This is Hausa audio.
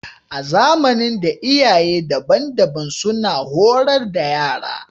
A zamanin da, iyaye daban-daban suna horar da yara